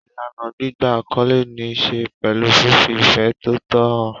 Ìlànà gbígba àkọlé ní í ṣe pẹ̀lú fífi ìfẹ́ tòótọ́ hàn.